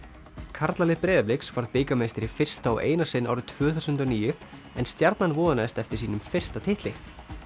karlalið Breiðabliks varð bikarmeistari í fyrsta og eina sinn árið tvö þúsund og níu en Stjarnan vonaðist eftir sínum fyrsta titli